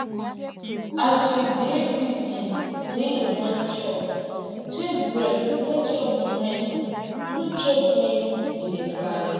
as you dey busy when you wan chop take break no chop when no chop when you dey drive